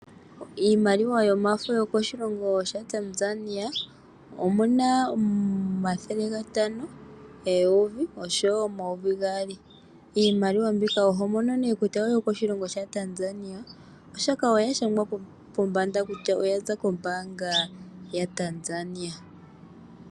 Iimaliwa yomafo yokoshilongo shaTanzania omuna omathele gatano, eyovi oshowo omayovi gaali. Iimaliwa mbika oho mono nee kutya oyo koshilongo shaTanzania oshoka oya shangwa pombanda kutya oya za kombanga yaTanzania.